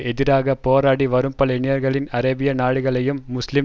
எதிராக போராடி வரும் பல இளைஞர்கள் அரேபிய நாடுகளையும் முஸ்லீம்